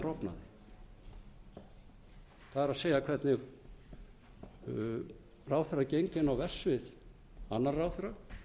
verra er það hvernig ábyrgðaráðherrakeðjan rofnaði það er hvernig ráðherrar gengu inn á verksvið annarra ráðherra